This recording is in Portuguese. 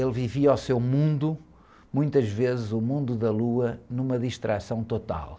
Ele vivia o seu mundo, muitas vezes o mundo da lua, numa distração total.